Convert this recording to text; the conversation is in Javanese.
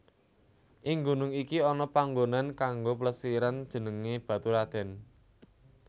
Ing gunung iki ana panggonan kanggo plesiran jenengé Baturadèn